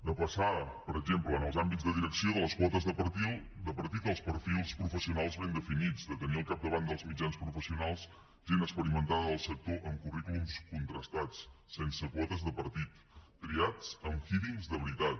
de passar per exemple en els àmbits de direcció de les quotes de partit als perfils professionals ben definits de tenir al capdavant dels mitjans professionals gent experimentada del sector amb currículums contrastats sense quotes de partit triats en hearingsveritat